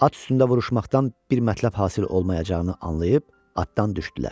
At üstündə vuruşmaqdan bir mətləb hasil olmayacağını anlayıb, atdan düşdülər.